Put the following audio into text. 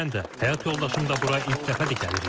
Mən də, həyat yoldaşım da bura ilk dəfədir gəlirik.